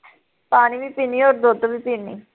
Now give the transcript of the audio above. ਪਾਣੀ ਵੀ ਪੀਂਨੀ ਓਰ ਦੁੱਧ ਵੀ ਪੀਂਨੀ